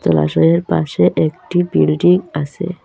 জলাশয়ের পাশে একটি বিল্ডিং আসে ।